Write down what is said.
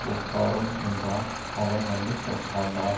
உட்காரும் என்றான் அவன் வந்து உட்கார்ந்தான்